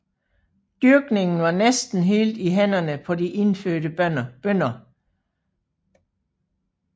Dyrkningen var næsten helt i hænderne på de indfødte bønder